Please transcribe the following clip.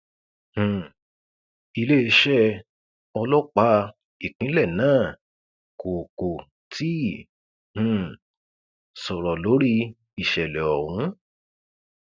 um iléeṣẹ ọlọpàá ìpínlẹ náà kò kò tí ì um sọrọ lórí ìṣẹlẹ ọhún